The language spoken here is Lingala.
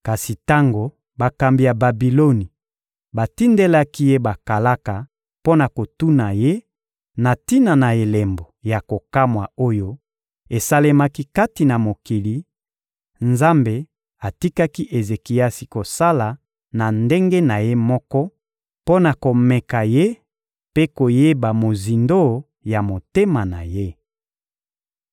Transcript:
Kasi tango bakambi ya Babiloni batindelaki ye bakalaka mpo na kotuna ye na tina na elembo ya kokamwa oyo esalemaki kati na mokili, Nzambe atikaki Ezekiasi kosala na ndenge na ye moko mpo na komeka ye mpe koyeba mozindo ya motema na ye.